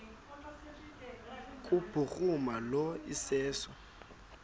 kubhuruma lo iseso